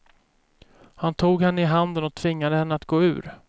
Han tog henne i handen och tvingade henne att gå ur.